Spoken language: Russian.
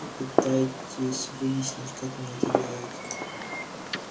попытайтесь выяснить как он это делает